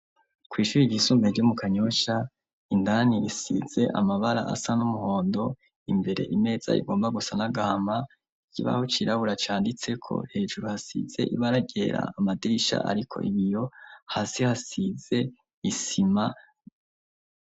Kw' ishure ryisumbuye ryo mu Kanyosha, indani risize amabara asa n'umuhondo imbere imeza igomba gusa n'agahama, ikibaho cirabura canditseko hejuru hasize ibara ryera, amadirisha ariko ibiyo, hasi hasize isima.